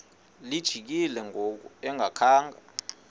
lijikile ngoku engakhanga